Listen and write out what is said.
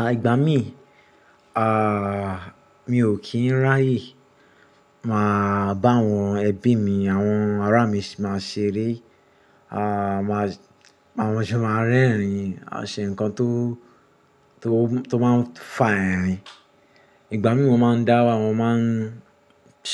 À ìgbà mí, ààà mi ò kí ń ráyè máa bá àwọn ẹbí mi àwọn ará mi máa ṣeré. À máa, àwọn ọmọ mi máa ń rẹ́rìn-ín, a máa ṣe nǹkan tó, tó, tó máa ń fà ẹ́rìn-ín. Ìgbà mí mo máa ń dá wá, mo máa ń